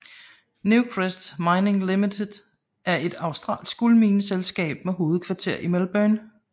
Newcrest Mining Limited er et australsk guldmineselskab med hovedkvarter i Melbourne